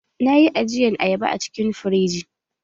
Na yi ajiyan ayaba a cikin firiji.